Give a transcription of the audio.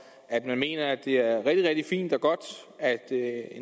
at man mener at det er rigtig rigtig fint og godt